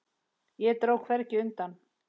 Og dró hvergi undan.